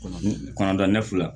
Kɔnɔda ne fila